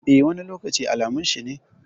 Eh, wani lokaci alamun shi ne.